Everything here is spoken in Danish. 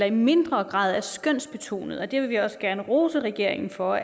i mindre grad er skønsbetonede og det vil vi også gerne rose regeringen for